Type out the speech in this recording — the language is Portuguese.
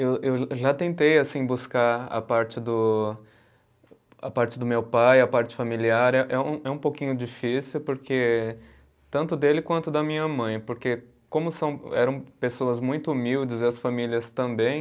Eu eu eu já tentei buscar a parte do, a parte do meu pai, a parte familiar, é é um pouquinho difícil porque, tanto dele quanto da minha mãe, porque como são, eram pessoas muito humildes, e as famílias também,